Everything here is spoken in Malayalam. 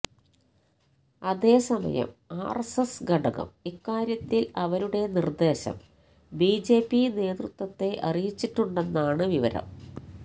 അതേസമയം ആര്എസ്എസ് ഘടകം ഇക്കാര്യത്തില് അവരുടെ നിര്ദേശം ബിജെപി നേതൃത്വത്തെ അറിയിച്ചിട്ടുണ്ടെന്നാണ് വിവരം